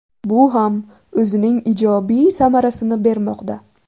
Bu ham o‘zining ijobiy samarasini bermoqda.